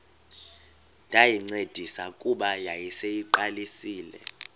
ndayincedisa kuba yayiseyiqalisile